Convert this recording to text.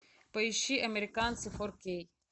поищи американцы фор кей